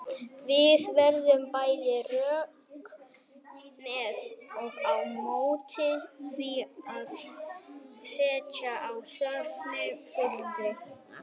Það eru bæði rök með og á móti því að setja á stofn sérstakar fulltrúanefndir.